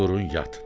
durun yatın.